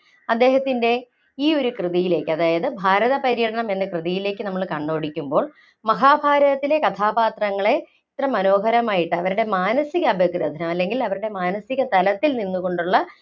അദ്ദേഹത്തിൻ്റെ ഈ ഒരു കൃതിയിലേക്ക് അതായത് ഭാരതപര്യടനം എന്ന കൃതിയിലേക്ക് നമ്മള് കണ്ണോടിക്കുമ്പോൾ മഹാഭാരതത്തിലെ കഥാപാത്രങ്ങളെ ഇത്ര മനോഹരമായിട്ട്, അവരുടെ മാനസിക അപഗ്രഥനം, അല്ലെങ്കില്‍ അവരുടെ മാനസിക തലത്തില്‍ നിന്നുകൊണ്ടുള്ള